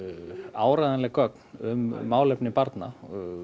áreiðanleg gögn um málefni barna